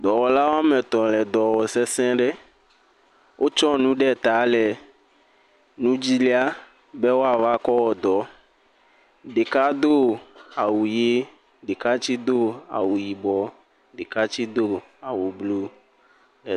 Dɔwɔla woa me etɔ le dɔwɔm sesẽ ɖe. Wotsɔ nu ɖe ta le nu dzi lia be woava kɔ woa dɔ. Ɖeka do awu ʋi, ɖeka tse do awu yibɔ, ɖeka tse do awu blu.